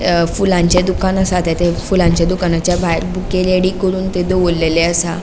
अ फुलांचे दुकान आसा ते फुलांचा दुकानाच्या भायर बुके रेडी करून थंय दवोरलेले असा.